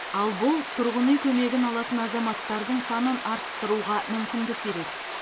ал бұл тұрғын үй көмегін алатын азаматтардың санын арттыруға мүмкіндік береді